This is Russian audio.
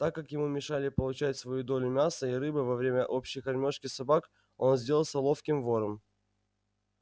так как ему мешали получать свою долю мяса и рыбы во время общей кормёжки собак он сделался ловким вором